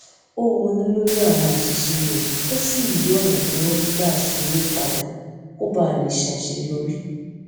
ó ronú lórí àwọn àṣìṣe rè ó sì yí ònà tó ń gbà ṣe é padà kó bàa lè ṣàṣeyọrí